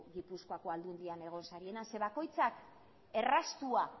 gipuzkoako aldundian egon zeren eta bakoitza erraztua